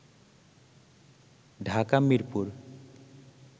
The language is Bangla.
ঢাকা মিরপুর